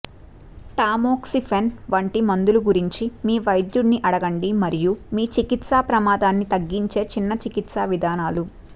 tamoxifen వంటి మందుల గురించి మీ వైద్యుడిని అడగండి మరియు మీ చికిత్సా ప్రమాదాన్ని తగ్గించే చిన్న చికిత్సా విధానాలు